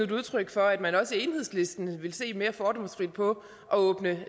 et udtryk for at man også i enhedslisten vil se mere fordomsfrit på at åbne